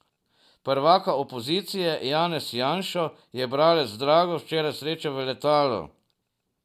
Prvaka opozicije Janez Janšo je bralec Drago včeraj srečal na letalu.